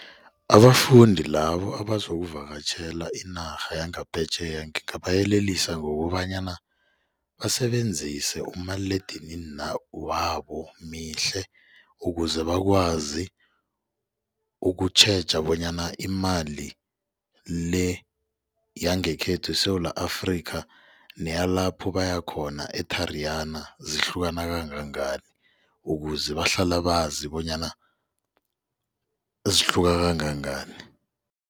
Abafundi labo abazokuvakatjhela inarha yangaphetjheya ngingabayelelisa ngokobanyana basebenzise umaliledinini wabo mihle ukuze bakwazi ukutjheja bonyana imali le yangekhethu eSewula Afrika neyalapho bayakhona e-Tariyana zihlukana kangangani ukuze bahlale bazi bonyana zihluka kangangani.